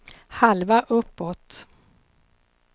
halva uppåt